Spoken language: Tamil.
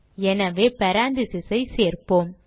எனவே parentheses ஐ சேர்ப்போம்